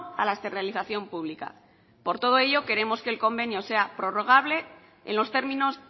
a la externalización pública